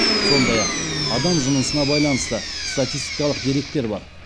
сондай ақ адам жынысы байланысты статистикалық деректер бар